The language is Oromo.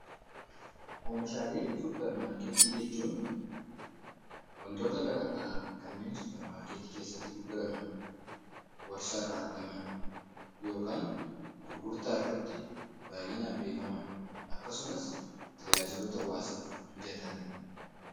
Oomishaalee suupermaarkeetii jechuun waantota garaagaraa kanneen suupermaarkeetii keessatti gurguraman warshaa irraa argaman yookaan gurgurtaa irratti baayyinaan beekaman akkasumas tajaajiloota hawaasaan beekaman mijatanidha.